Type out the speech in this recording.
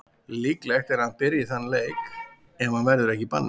Líklegt er að hann byrji þann leik ef hann verður ekki í banni.